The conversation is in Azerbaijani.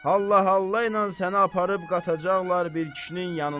Hallahalla ilə səni aparıb qatacaqlar bir kişinin yanına.